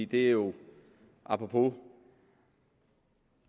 det er jo apropos